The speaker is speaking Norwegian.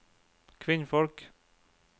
kvinnfolk